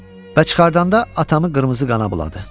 Və çıxardanda atamı qırmızı qana buladı.